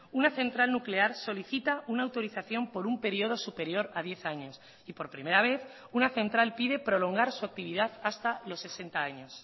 una central nuclear solicita una autorización por un periodo superior a diez años y por primera vez una central pide prolongar su actividad hasta los sesenta años